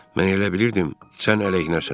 Mən elə bilirdim sən əleyhinəsən.